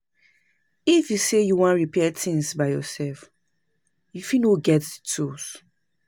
If you sey you wan repair things by yourself, you fit no get di tools